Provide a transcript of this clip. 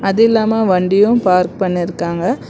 அதும் இல்லாம வண்டியு பார்க் பண்ணிருக்காங்க.